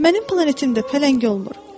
Mənim planetimdə pələng olmur.